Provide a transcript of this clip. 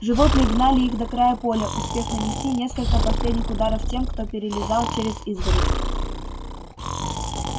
животные гнали их до края поля успев нанести несколько последних ударов тем кто перелезал через изгородь